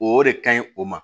O de kaɲi o ma